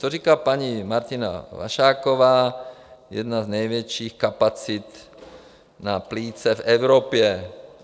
To říká paní Martina Vašáková, jedna z největších kapacit na plíce v Evropě.